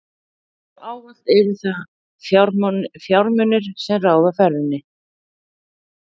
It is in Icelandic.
Eins og ávallt eru það fjármunirnir, sem ráða ferðinni.